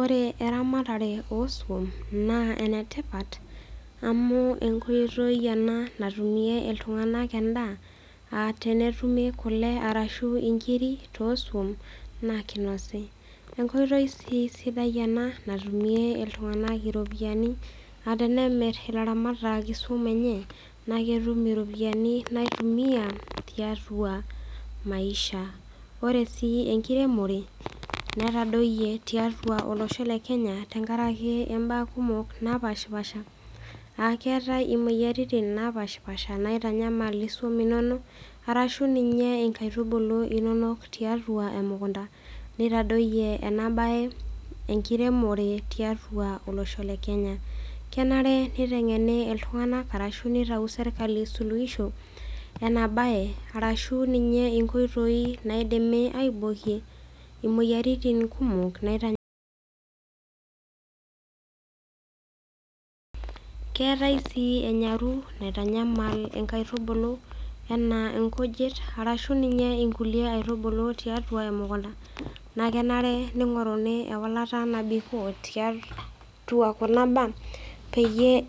Ore eramatare oo suk na enetipat amu enkoitoi ena natumie ltunganak endaa amu tenetum kule ashu nkirik tosun na kinasayu enkoitoi si sidai ena antumie ltunganak iropiyiani aa tenemir ilaramatak isu enye na ketum iropiyiani naitumiai tiatua maisha ore si enkiremore netadoyie tiatua olosho lekenya akeetae imoyiaritin napashipasha naitanyamal isum inonok ashu nkaitubulu inonok tiatua emukunda netadoyie enabae enkiremore tiatua olosho le kenya kenare nitau serkali suluishi enabae ashu nkoitoi moyiaritin kumok nitanyamal keetae si enyaru naitanyamal nkujit ashu nkaitubulu tiatua emukunda nakenare ningoruni eolata nabikoo